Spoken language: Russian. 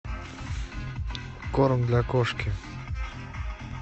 корм для кошки